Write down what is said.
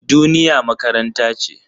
Duniya makaranta ce.